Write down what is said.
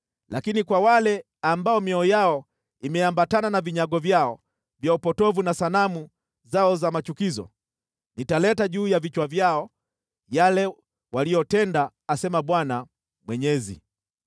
Lakini kwa wale ambao mioyo yao imeambatana na vinyago vyao vya upotovu na sanamu zao za machukizo, nitaleta juu ya vichwa vyao yale waliyotenda asema Bwana Mwenyezi.”